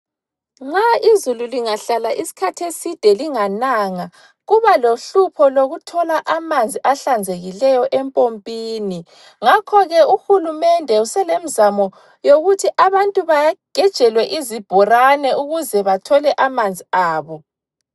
Nxa izulu lingahlala iskhath' eside lingananga. Kuba lohlupho lokuthola amanzi ahlanzekileyo empompini. Ngakho ke uhulumende uselemzamo yokuthi abantu bagejelwe izibhorani ukuze bathole amanzi abo.